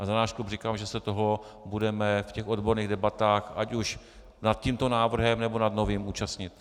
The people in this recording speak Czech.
A za náš klub říkám, že se toho budeme v těch odborných debatách ať už nad tímto návrhem, nebo nad novým účastnit.